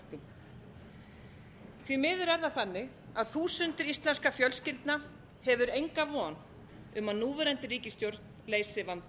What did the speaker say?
bökkum því miður er það þannig að þúsundir íslenskra fjölskyldna hefur enga von um að núverandi ríkisstjórn leysi vanda